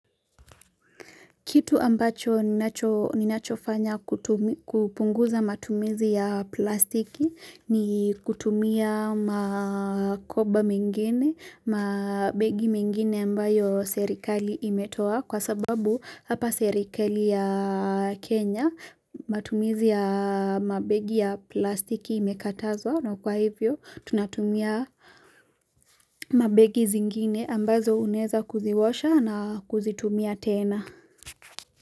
Kitu ambacho ninachofanya kupunguza matumizi ya plastiki ni kutumia makoba mengene, mabegi mengene ambayo serikali imetoa kwa sababu hapa serikali ya Kenya matumizi ya mabegi ya plastiki imekatazwa na kwa hivyo tunatumia mabegi zingine ambazo uneza kuziosha na kuzitumia tena.